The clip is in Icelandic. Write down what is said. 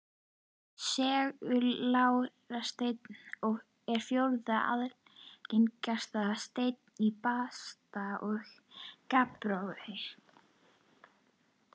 Seguljárnsteinn er fjórða algengasta steind í basalti og gabbrói.